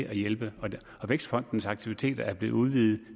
at hjælpe vækstfondens aktiviteter er blevet udvidet